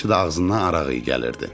Həmişə də ağzından araq iyi gəlirdi.